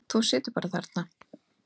Þú bara situr þarna.